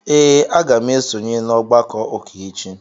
Ee, aga m esonye n'ọgbakọ ụka echi.